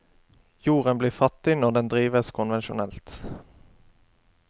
Jorden blir fattig når den drives konvensjonelt.